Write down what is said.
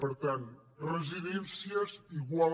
per tant residències igual